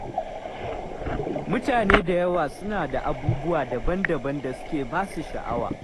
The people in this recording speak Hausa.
Mutane da yawa suna da abubuwa daban-daban da suke ba su sha'awa.